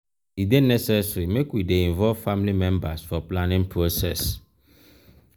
e dey necessary make we dey involve family members for planning process.